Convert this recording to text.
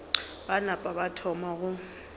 ba napa ba thoma go